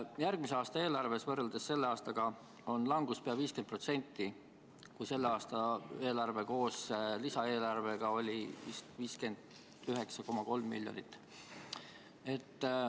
Järgmise aasta eelarves on võrreldes selle aastaga langus pea 50%, kui selle aasta eelarve koos lisaeelarvega oli 59,3 miljonit.